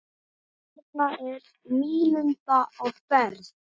Þarna er nýlunda á ferð.